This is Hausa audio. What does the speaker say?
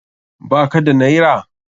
Ba ka da naira?